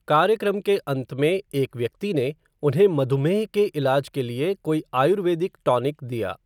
कार्यक्रम के अंत में एक व्यक्ति ने उन्हें मधुमेह के इलाज के लिए कोई आयुर्वेदिक टॉनिक दिया।